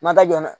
Ma taa jɔ dɛ